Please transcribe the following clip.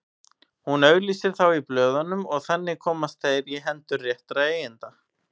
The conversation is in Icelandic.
Hún auglýsir þá í blöðunum og þannig komast þeir í hendur réttra eigenda.